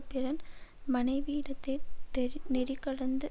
பிறன் மனைவியிடத்தே தெறி நெறிகடந்து